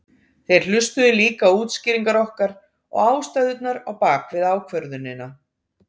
Þeir hlustuðu líka á útskýringar okkar og ástæðurnar á bakvið ákvörðunina.